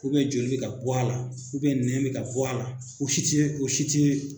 joli bɛ ka bɔ a la nɛn bɛ ka bɔ a la o si tɛ o si tɛ